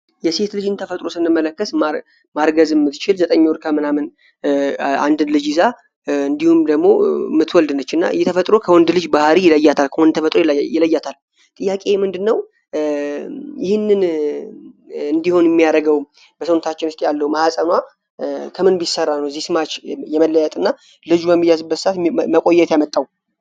የሴት ልጅን ተፈጥሮ ስንመለከት ማርገዝ የምትችል ዘጠኝ ወር ከምናምን እንዲሁም ደግሞ እየተፈጥሮ ከወንድ ልጅ ባህሪ ይለያታል። ጥያቄ ምንድነው ይህንን እንዲሁም የሚያደርገው ማህጸኗ ከምንሰራ ነው መቆየት ያመጣው